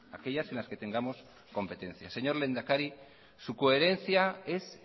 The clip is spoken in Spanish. aquellas en las que tengamos competencias señor lehendakari su coherencia es